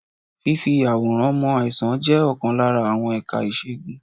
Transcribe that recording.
Fífì àwòrán mọ àìsàn jẹ́ ọ̀kan lára àwọn ẹ̀ka ìṣègùn.